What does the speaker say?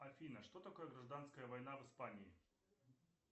афина что такое гражданская война в испании